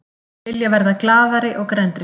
Vilja verða glaðari og grennri